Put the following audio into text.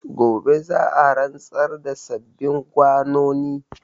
Gobe za a rantsar da sababbin gwanoni.